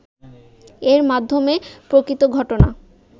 এর মাধ্যমে প্রকৃত ঘটনা